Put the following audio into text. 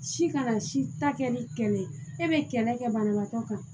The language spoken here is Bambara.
Si kana si ta kɛ ni kɛlɛ ye e be kɛlɛ kɛ banabaatɔ kan